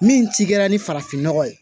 Min ti kɛra ni farafin ɲɔgɔ ye